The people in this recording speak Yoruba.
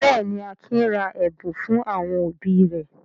Bẹ́ẹ̀ ni, Akin ra ẹ̀bùn fún àwọn òbí rẹ̀.